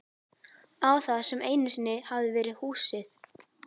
Á það sem einu sinni hafði verið húsið.